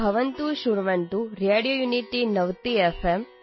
ಭವಂತಃಶ್ರಣ್ವಂತು radio unity ನವತಿಎಫ್